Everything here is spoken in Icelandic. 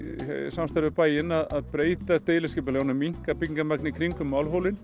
samstarfi við bæinn að breyta deiliskipulaginu og minnka byggingarmagnið í kringum